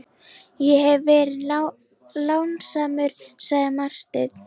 Ég hef verið lánsamur, sagði Marteinn.